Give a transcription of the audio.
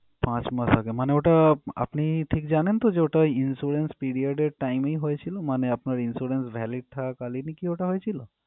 পাঁচ মাস আগে মানে ওটা আপনি ঠিক জানেন তো যে ওটা insurance period time এর হয়েছিল মানে আপনার insurance valid থাকাকালীনই কি ওটা হয়েছিল?